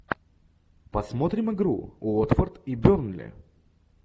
посмотрим игру уотфорд и бернли